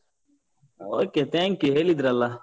Okay thank you ಹೇಳಿದ್ರಲ್ಲಾ?